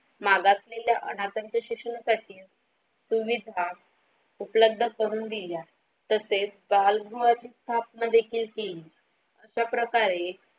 माघातील अनाथाच्या शिक्षणासाठी तुम्हीच हा उपलब्ध करून दिला तसेच बाल गृहच्या स्थापना पण देखील केली अशाप्रकारे.